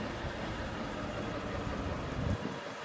Yəni əvvəlki də o tərəfdən gedirdi, indi də elədir.